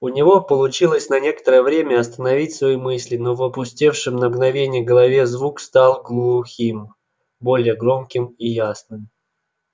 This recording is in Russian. у него получилось на некоторое время остановить свои мысли но в опустевшей на мгновение голове звук стал глухим более громким и ясным